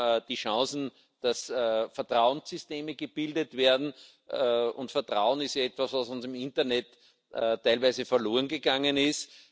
Wir haben die Chance, dass Vertrauenssysteme gebildet werden, und Vertrauen ist etwas, was uns im Internet teilweise verlorengegangen ist.